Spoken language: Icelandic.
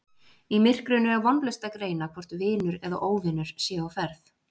Í myrkrinu er vonlaust að greina hvort vinur eða óvinur sé á ferð